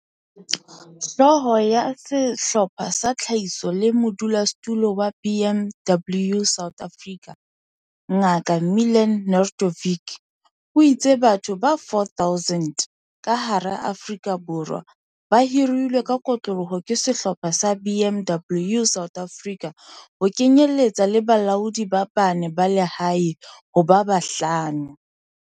Hlooho ya Sehlopha sa Tlhahiso le modulasetulo wa BMW South Africa, Ngaka Milan Nedeljkovic, o itse batho ba 4 000 ka hara Afrika Borwa ba hirilwe ka kotloloho ke Sehlopha sa BMW South Africa, ho kenyeletswa le balaodi ba bane ba lehae ho ba bahlano.